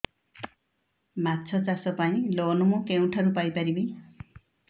ମାଛ ଚାଷ ପାଇଁ ଲୋନ୍ ମୁଁ କେଉଁଠାରୁ ପାଇପାରିବି